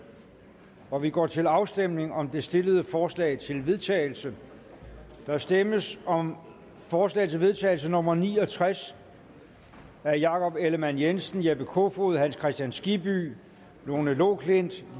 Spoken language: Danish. og vi går til afstemning om de stillede forslag til vedtagelse der stemmes om forslag til vedtagelse nummer v ni og tres af jakob ellemann jensen jeppe kofod hans kristian skibby lone loklindt